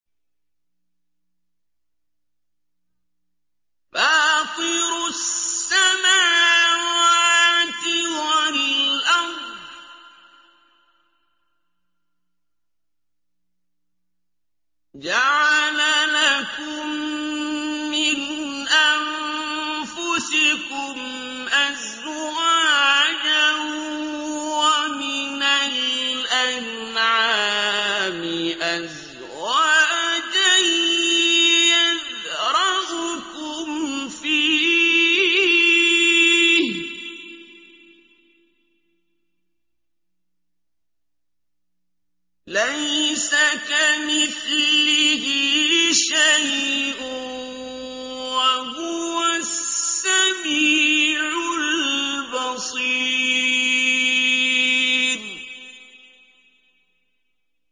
فَاطِرُ السَّمَاوَاتِ وَالْأَرْضِ ۚ جَعَلَ لَكُم مِّنْ أَنفُسِكُمْ أَزْوَاجًا وَمِنَ الْأَنْعَامِ أَزْوَاجًا ۖ يَذْرَؤُكُمْ فِيهِ ۚ لَيْسَ كَمِثْلِهِ شَيْءٌ ۖ وَهُوَ السَّمِيعُ الْبَصِيرُ